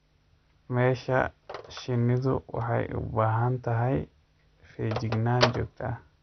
Meesha shinnidu waxay u baahan tahay feejignaan joogto ah.